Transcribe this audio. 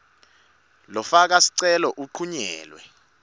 lofaka sicelo uncunyelwe